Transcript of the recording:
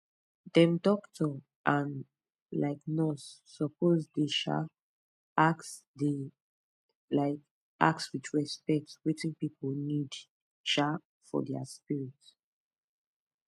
dem doctor and um nurse suppose dey um ask dey um ask with respect wetin pipu need um for dia spirit